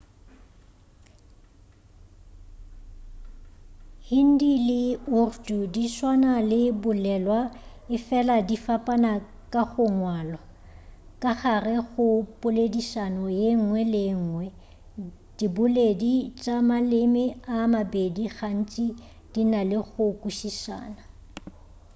hindi le urdu di tswana ka go bolelwa efela di fapana ka go ngwalwa ka gare ga poledišano yengwe le yengwe diboledi tša maleme a a mabedi gantši di na le go kwešišana